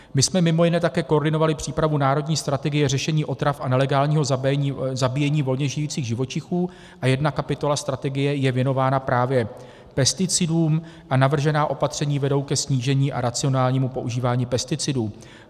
My jsme mimo jiné také koordinovali přípravu Národní strategie řešení otrav a nelegálního zabíjení volně žijících živočichů a jedna kapitola strategie je věnována právě pesticidům a navržená opatření vedou ke snížení a racionálnímu používání pesticidů.